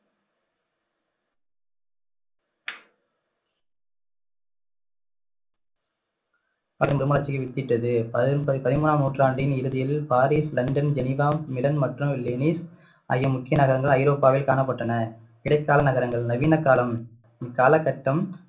வித்திட்டது பதி~ பதிமூணாம் நூற்றாண்டின் இறுதியில் பாரீஸ், லண்டன், ஜெனிவா ஆகிய முக்கிய நகரங்கள் ஐரோப்பாவில் காணப்பட்டன இடைக்கால நகரங்கள் நவீன காலம் இக்கால கட்டம்